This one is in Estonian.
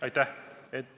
Aitäh!